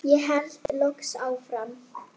vordag langan.